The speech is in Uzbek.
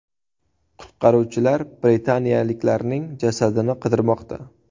Qutqaruvchilar britaniyalikning jasadini qidirmoqda.